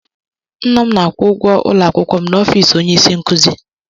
Nna m na-akwụ ụgwọ ụlọakwụkwọ m na ọfis onyeisinkuzi